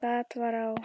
Gat var á